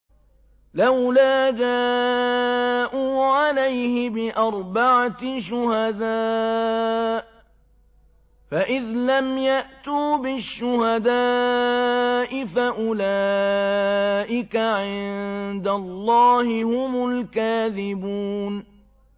لَّوْلَا جَاءُوا عَلَيْهِ بِأَرْبَعَةِ شُهَدَاءَ ۚ فَإِذْ لَمْ يَأْتُوا بِالشُّهَدَاءِ فَأُولَٰئِكَ عِندَ اللَّهِ هُمُ الْكَاذِبُونَ